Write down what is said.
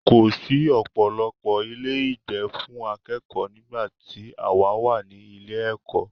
Kò sí ọ̀pọ̀lọpọ̀ ilé ìgbé fún akẹ́kọ̀ọ́ nígbà tí àwa wà ní ilé ẹ̀kọ́.